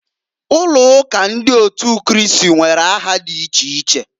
Ụlọụka ndị otu Kristi nwere aha di iche iche.